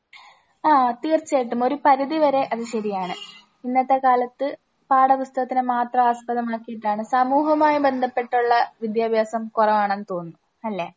ആഹ് തീർച്ചയായിട്ടും ഒരു പരിധി വരെ അത് ശരിയാണ്. ഇന്നത്തെ കാലത്ത് പാഠപുസ്തകത്തിനെ മാത്രം ആസ്പദമാക്കിയിട്ടാണ്. സമൂഹവുമായി ബന്ധപ്പെട്ടുള്ള വിദ്യാഭ്യാസം കുറവാണെന്ന് തോന്നുന്നു അല്ലേ?